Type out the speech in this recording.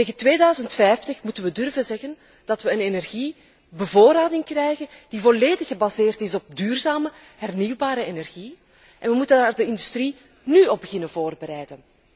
Tegen 2050 moeten we durven zeggen dat we een energiebevoorrading krijgen die volledig gebaseerd is op duurzame hernieuwbare energie en we moeten daar de industrie nú op beginnen voorbereiden.